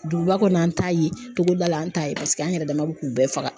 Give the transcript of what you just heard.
Duguba kɔnɔ, an t'a ye togoda la an t'a ye paseke an yɛrɛ dama bɛ k'u bɛɛ faga.